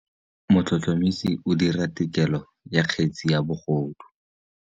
Motlhotlhomisi o dira têkolô ya kgetse ya bogodu.